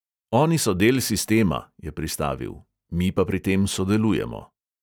"Oni so del sistema," je pristavil, "mi pa pri tem sodelujemo."